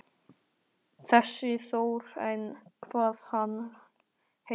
Þessi Þór eða hvað hann heitir.